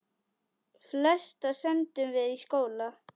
Flesta sendum við í skóla.